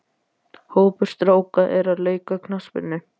Hópur stráka er að leika knattspyrnu.